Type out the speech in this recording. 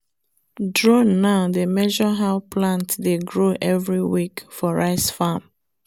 drone now dey measure how plant dey grow every week for rice farm